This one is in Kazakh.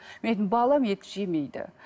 мен айттым балам ет жемейді